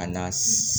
A na